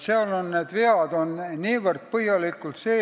Seal on niivõrd põhjalikud vead sees.